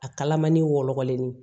A kalamani wɔlɔlennin